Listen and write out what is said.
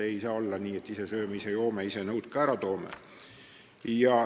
Ei saa olla nii, et ise sööme, ise joome, ise nõud ka ära toome.